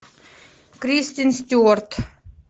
кристен стюарт